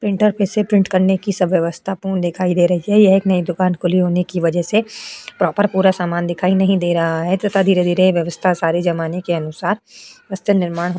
Printer कैसे print करने की सब व्यवस्था पूर्ण दिखाई दे रही है। यह एक नई दुकान खुली होने की वजह से प्रॉपर पूरा सामान दिखाई नहीं दे रहा है तथा धीरे-धीरे ये व्यवस्था सारे जमाने के अनुसार वस्त्र निर्माण --